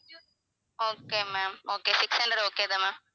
okay ma'am okay six hundred okay தான் ma'am